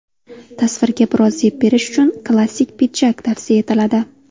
Tasvirga biroz zeb berish uchun klassik pidjak tavsiya etiladi.